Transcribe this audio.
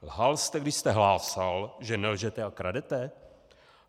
Lhal jste, když jste hlásal, že nelžete a kradete?